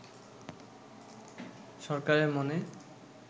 সরকারের মনে